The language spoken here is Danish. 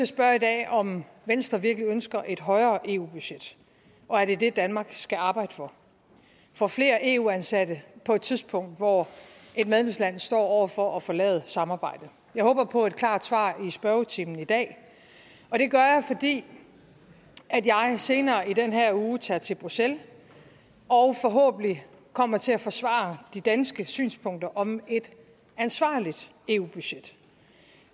spørge i dag om venstre virkelig ønsker et højere eu budget og er det det danmark skal arbejde for for flere eu ansatte på et tidspunkt hvor et medlemsland står over for at forlade samarbejdet jeg håber på et klart svar i spørgetimen i dag og det gør jeg fordi jeg senere i den her uge tager til bruxelles og forhåbentlig kommer til at forsvare de danske synspunkter om et ansvarligt eu budget